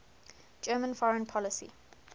german foreign policy